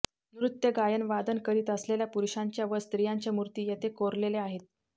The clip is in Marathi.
नृत्य गायन वादन करीत असलेल्या पुरुषांच्या व स्त्रियांच्या मूर्ती येथे कोरलेल्या आहेत